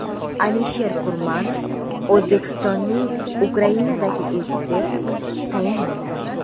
Alisher Kurmanov O‘zbekistonning Ukrainadagi elchisi etib tayinlandi.